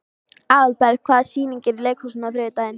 Aðalberg, hvaða sýningar eru í leikhúsinu á þriðjudaginn?